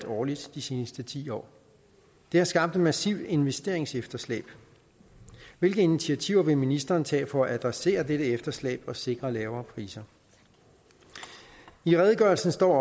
årligt de seneste ti år det har skabt et massivt investeringsefterslæb hvilke initiativer vil ministeren tage for at adressere dette efterslæb og sikre lavere priser i redegørelsen står